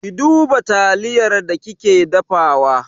Ki duba taliyar da kike dafawa!